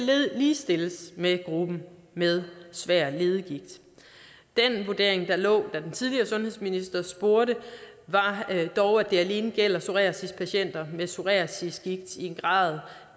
ligestilles med gruppen med svær leddegigt den vurdering der lå da den tidligere sundhedsminister spurgte var dog at det alene gælder psoriasispatienter med psoriasisgigt i en grad